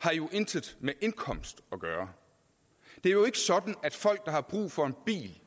har jo intet med indkomst at gøre det er jo ikke sådan at folk der har brug for en bil